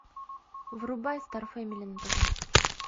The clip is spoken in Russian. врубай стар фэмили на тв